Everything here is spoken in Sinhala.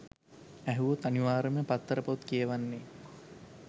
ඇහුවොත් අනිවාර්යෙන්ම පත්තර පොත් කියවන්නෙ